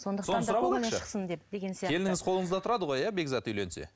соны сұрап алайықшы келініңіз қолыңызда тұрады ғой иә бекзат үйленсе